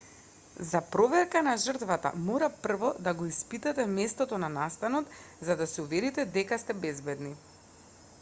за проверка на жртвата мора прво да го испитате местото на настанот за да се уверите дека сте безбедни